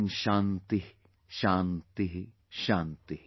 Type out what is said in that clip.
Om Shanti Shanti Shanti